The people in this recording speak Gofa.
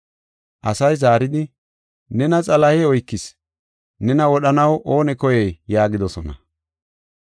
Asay zaaridi, “Nena Xalahey oykis; nena wodhanaw oonee koyey?” yaagidosona.